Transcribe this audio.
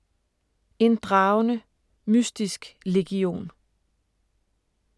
En dragende, mystisk legion